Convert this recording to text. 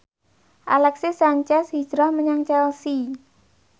Alexis Sanchez hijrah menyang Chelsea